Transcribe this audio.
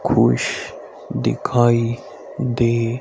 कुछ दिखाई दे--